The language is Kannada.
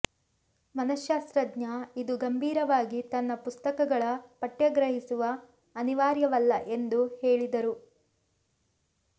ಮನಶ್ಶಾಸ್ತ್ರಜ್ಞ ಇದು ಗಂಭೀರವಾಗಿ ತನ್ನ ಪುಸ್ತಕಗಳ ಪಠ್ಯ ಗ್ರಹಿಸುವ ಅನಿವಾರ್ಯವಲ್ಲ ಎಂದು ಹೇಳಿದರು